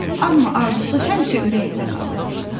Amma arzusu həmişə ürəyində qalırdı.